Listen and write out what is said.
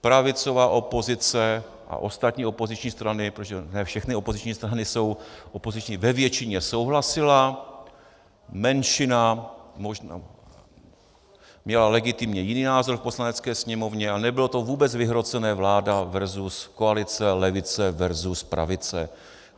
pravicová opozice a ostatní opoziční strany, protože ne všechny opoziční strany jsou opoziční, ve většině souhlasily, menšina možná měla legitimně jiný názor v Poslanecké sněmovně a nebylo to vůbec vyhrocené vláda versus koalice, levice, versus pravice.